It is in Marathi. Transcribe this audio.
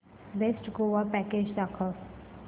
बेस्ट गोवा पॅकेज दाखव